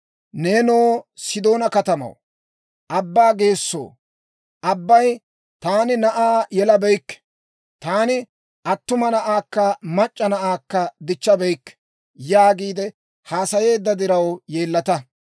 Neenoo Sidoona katamaw, abbaa geessoo, abbay, «Taani na'aa yelabeykke; taani attuma na'aakka mac'c'a na'aakka dichchabeykke» yaagiide haasayeedda diraw yeellata.